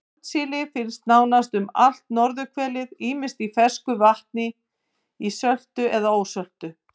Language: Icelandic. Hornsíli finnst nánast um allt norðurhvelið ýmist í fersku vatni, ísöltu eða söltu.